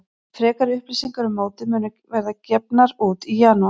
Frekari upplýsingar um mótið munu verða gefnar út í janúar.